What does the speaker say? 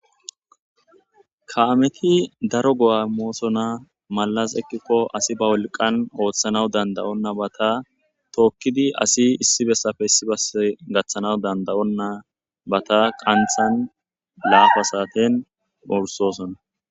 ka7ameti daro go7a moosona malas ekkikko asi ba wolqan ooththanaw dandayonna bata tookkidi asi issi bessafe issibase gaththanaw dandayonna bata qanthan laafa saaten ursosona